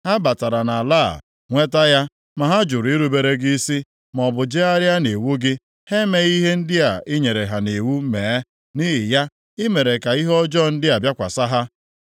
Ha batara nʼala a, nweta ya, ma ha jụrụ irubere gị isi, maọbụ jegharịa nʼiwu gị; ha emeghị ihe ndị i nyere ha nʼiwu mee. Nʼihi ya, i mere ka ihe ọjọọ ndị a bịakwasị ha.